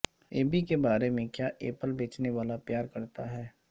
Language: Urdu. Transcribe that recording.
ای بے کے بارے میں کیا ایپل بیچنے والا پیار کرتا ہے